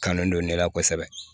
Kanu don ne la kosɛbɛ